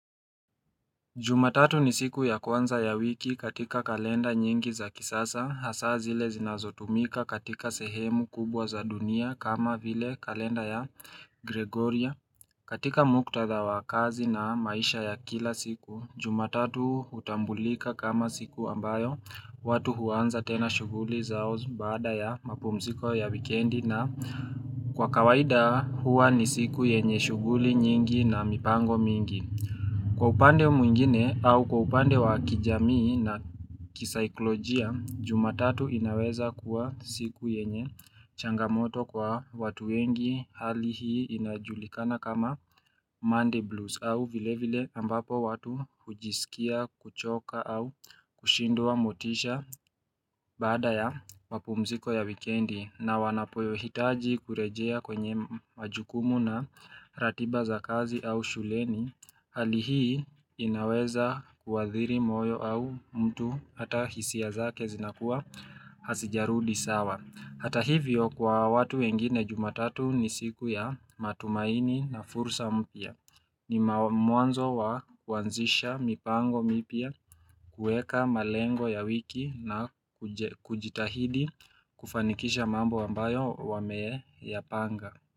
Jumatatu ni siku ya kwanza ya wiki katika kalenda nyingi za kisasa hasa zile zinazotumika katika sehemu kubwa za dunia kama vile kalenda ya gregorya katika muktadha wa kazi na maisha ya kila siku jumatatu hutambulika kama siku ambayo watu huanza tena shuguli zao baada ya mapumziko ya wikendi na Kwa kawaida huwa ni siku yenye shughuli nyingi na mipango mingi Kwa upande mwingine au kwa upande wa kijamii na kisaiklojia jumatatu inaweza kuwa siku yenye changamoto kwa watu wengi hali hii inajulikana kama Monday blues au vile vile ambapo watu hujisikia kuchoka au kushindwa motisha Baada ya mapumziko ya wikendi na wanapoyohitaji kurejea kwenye majukumu na ratiba za kazi au shuleni Hali hii inaweza kuadhiri moyo au mtu hata hisia zake zinakuwa hasijarudi sawa Hata hivyo kwa watu wengine jumatatu ni siku ya matumaini na fursa mpia ni mwanzo wa kuanzisha mipango mipya kueka malengo ya wiki na kujitahidi kufanikisha mambo ambayo wameyapanga.